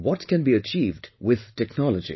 What can be achieved with technology